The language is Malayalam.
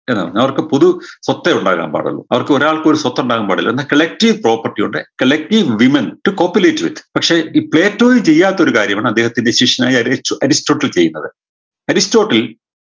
അവർക്ക് പൊതു സ്വത്തെ ഉണ്ടാകാൻ പാടുള്ളൂ അവർക്ക് ഒരാൾക്ക് ഒരു സ്വത്ത് ഉണ്ടാകാൻ പാടില്ല എന്ന collective property ഉണ്ട് collective women to copulate with പക്ഷേ ഈ പ്ലേറ്റോൾ ചെയ്യാത്തൊരു കാര്യമാണ് അദ്ദേഹത്തിൻറെ ശിഷ്യനായ അടയ്സ്റ്റോ അരിസ്റ്റോട്ടിൽ ചെയ്യുന്നത് അരിസ്റ്റോട്ടിൽ